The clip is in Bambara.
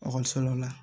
Ekɔliso la